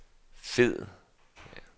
fed